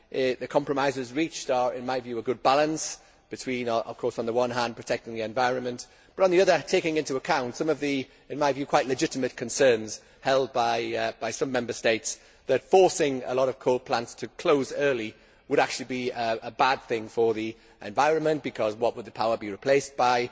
The compromises reached are, in my view, a good balance between, on the one hand, protecting the environment but, on the other, taking into account some of the quite legitimate concerns held by some Member States that forcing a lot of coal plants to close early would actually be a bad thing for the environment what would the power be replaced by?